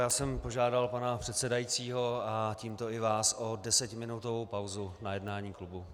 Já jsem požádal pana předsedajícího a tímto i vás o desetiminutovou pauzu na jednání klubu.